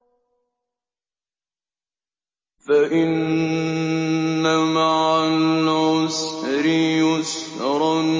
فَإِنَّ مَعَ الْعُسْرِ يُسْرًا